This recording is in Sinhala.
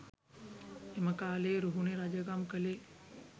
එම කාලයේ රුහුණේ රජකම් කළේ